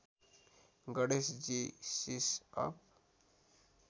Ganesh ji सिसअप